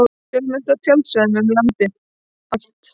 Fjölmennt á tjaldsvæðum um land allt